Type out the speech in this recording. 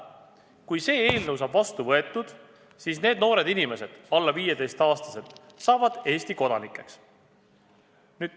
Kui see eelnõu saab vastu võetud, siis need noored inimesed, alla 15-aastased, saavad Eesti kodanikeks.